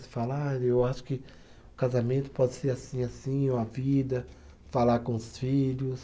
Você fala, ah eu acho que o casamento pode ser assim, assim, ou a vida, falar com os filhos.